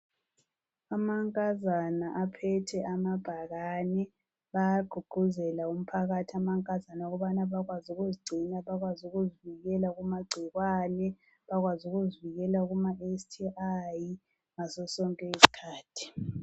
Amankazana aphethe amabhakani bayagqugquzela umphakathi, amankazana, ukubana bakwazi ukuzigcina, bakwazi ukuzivikela kumagcikwane, bakwazi ukuzivikela kumaSTI ngasosonke isikhathi.